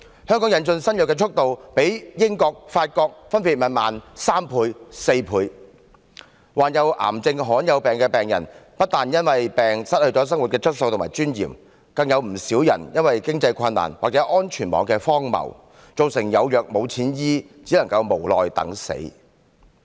香港引進新藥的速度，較英國及法國分別慢3倍和4倍，患有癌症和罕見疾病的病人，不但因為疾病失去生活質素和尊嚴，更有不少因為經濟困難或安全網的荒謬而有藥無錢醫，只能無奈等死。